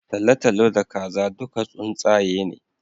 Talatalo da Kaza duka tsuntsaye ne